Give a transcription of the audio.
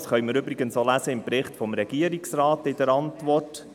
Das können wir übrigens auch im Bericht, in der Antwort des Regierungsrates lesen.